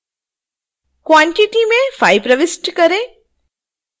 quantity में 5 प्रविष्ट करें